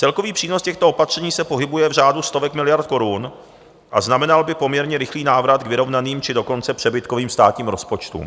Celkový přínos těchto opatření se pohybuje v řádu stovek miliard korun a znamenal by poměrně rychlý návrat k vyrovnaným, či dokonce přebytkovým státním rozpočtům.